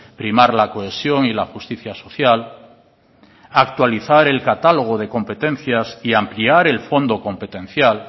primar la cohesión y la justicia social actualizar el catálogo de competencias y ampliar el fondo competencial